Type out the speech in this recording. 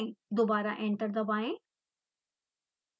दोबारा enter दबाएं